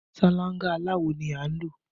Ṣáláńgá aláwò ni a ń lò